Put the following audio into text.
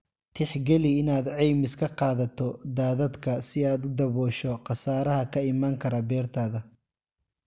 Tixgeli inaad caymis ka qaadato daadadka si aad u daboosho khasaaraha ka iman kara beertaada.